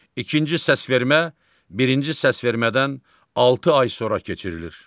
İkinci səsvermə birinci səsvermədən altı ay sonra keçirilir.